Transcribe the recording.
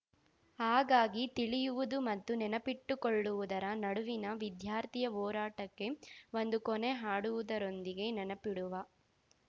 ಹಾಗಾಗಿ ತಿಳಿಯುವುದು ಮತ್ತು ನೆನಪಿಟ್ಟುಕೊಳ್ಳುವುದರ ನಡುವಿನ ವಿದ್ಯಾರ್ಥಿಯ ಹೋರಾಟಕ್ಕೆ ಒಂದು ಕೊನೆ ಹಾಡುವುದರೊಂದಿಗೆ ನೆನಪಿಡುವ